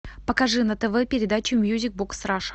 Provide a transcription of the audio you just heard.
покажи на тв передачу мьюзик бокс раша